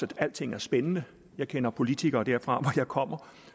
at alting er spændende jeg kender politikere derfra hvor jeg kommer